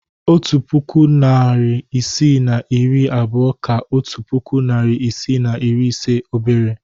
Otu puku, narị isii na iri abụọ ka otu puku, narị isii na iri ise obere